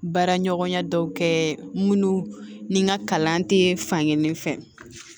Baara ɲɔgɔnya dɔw kɛ minnu ni n ka kalan tɛ fankelen fɛ